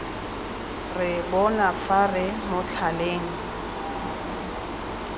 re bona fa re motlhaleng